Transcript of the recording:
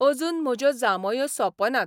अजून म्हज्यो जांभयो सौंपनात.